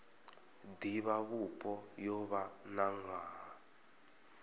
divhavhupo yo vha na nwaha